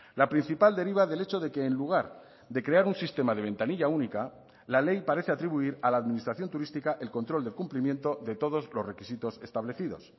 la principal deriva del hecho de que en lugar de crear un sistema de ventanilla única la ley parece atribuir a la administración turística el control del cumplimiento de todos los requisitos establecidos